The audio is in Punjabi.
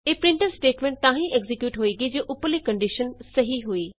ਇਹ ਪ੍ਰਿੰਟਫ ਸਟੇਟਮੈਂਟ ਤਾਂ ਹੀ ਐਕਜ਼ੀਕਿਯੂਟ ਹੋਏਗੀ ਜੇ ਉਪਰਲੀ ਕੰਡੀਸ਼ਨ ਸਹੀ ਹੋਈ